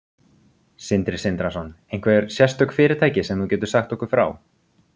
Sindri Sindrason: Einhver sérstök fyrirtæki sem þú getur sagt okkur frá?